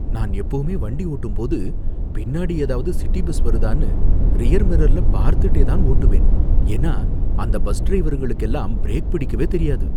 நான் எப்பவுமே வண்டி ஓட்டும் போது பின்னாடி ஏதாவது சிட்டி பஸ் வருதான்னு ரியர் மிர்ரர்ல பார்த்துட்டே தான் ஓட்டுவேன். ஏன்னா அந்த பஸ் டிரைவருங்களுக்கு எல்லாம் பிரேக் பிடிக்கவே தெரியாது